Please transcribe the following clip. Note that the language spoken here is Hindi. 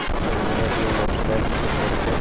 जब वह अपनी मोटर साइकिल पर चढ़ कर